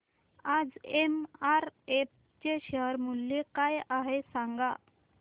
आज एमआरएफ चे शेअर मूल्य काय आहे सांगा